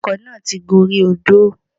Ọkọ̀ náà ti gorí odó